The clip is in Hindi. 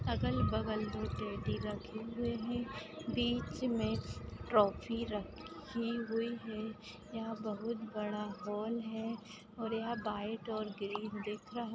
अगल-बगल में टेड़ी रखे हुए हैं बीच में ट्रॉफी रखी हुई है यहां पे बहुत बड़ा हॉल है और यह व्हाईट और ग्रीन दिख रहा--